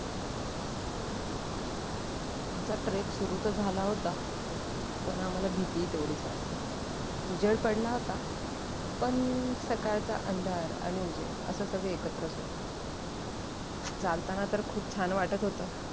आमचा trek सुरु तर झाला होता पण आम्हाला भीतीही तेव्हडीच वाटत होती उजेड पडला होता पण सकाळचा अंधार आणि उजेड असं सगळं एकत्रच होत चालताना तर खूप छान वाटत होत